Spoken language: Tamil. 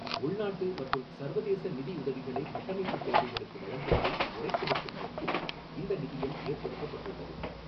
உள்நாட்டு மற்றும் சர்வதேச நிதியுதவிகளை கட்டமைப்புத் தேவைகளுக்கு வழங்குவதை முறைப்படுத்தும் நோக்கி்ல் இந்த நிதியம் ஏற்படுத்தப்பட்டு்ள்ளது.